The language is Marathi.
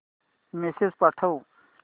मेसेज पाठव